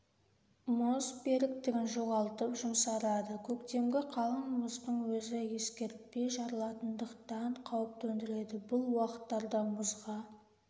мұз беріктігін жоғалтып жұмсарады көктемгі қалың мұздың өзі ескертпей жарылатындықтан қауіп төндіреді бұл уақыттарда мұзға